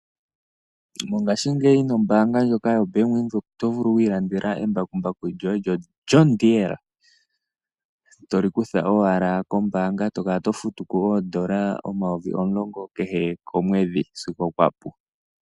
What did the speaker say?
Mongashingeyi nombaanga ndjoka yoBank Windhoek oto vulu okuilandela embakumbaku lyoye ndyoka lyoJhn Deere, to li kutha owala kombaanga e to kala to futu ko N$ 10 200 kehe komwedhi sigo kwa pu.